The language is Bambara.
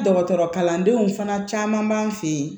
Dɔgɔtɔrɔ kalandenw fana caman b'an fɛ yen